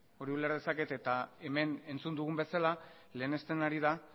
hori uler dezaket eta hemen entzun dugun bezala lehenesten ari da